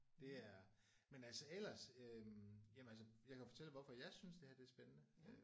Det er men altså ellers øh jamen altså jeg kan fortælle dig hvorfor jeg synes det her det er spændende